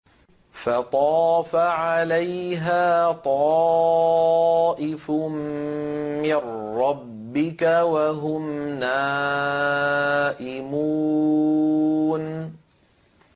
فَطَافَ عَلَيْهَا طَائِفٌ مِّن رَّبِّكَ وَهُمْ نَائِمُونَ